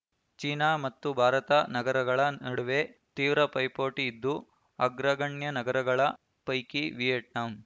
China ಮತ್ತು ಭಾರತ ನಗರಗಳ ನಡುವೆ ತೀವ್ರ ಪೈಪೋಟಿ ಇದ್ದು ಅಗ್ರಗಣ್ಯ ನಗರಗಳ ಪೈಕಿ ವಿಯೆಟ್ನಾಂ